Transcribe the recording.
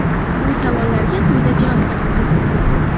Bu savollarga quyida javob topasiz.